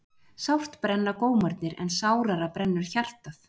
Sárt brenna gómarnir en sárara brennur hjartað.